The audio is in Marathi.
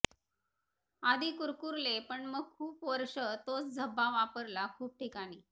आधी कुरकुरले पण मग खुप वर्ष तोच झब्बा वापरला खुप ठिकाणी